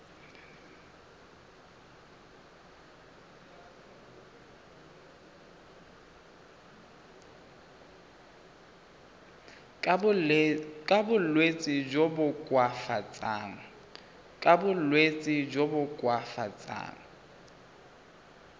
ka bolwetsi jo bo koafatsang